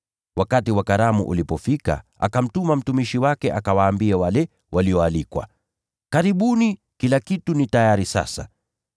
Wakati wa karamu ulipofika, akamtuma mtumishi wake akawaambie wale walioalikwa, ‘Karibuni, kila kitu ki tayari sasa.’